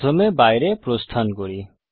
প্রথমে বাইরে প্রস্থান করি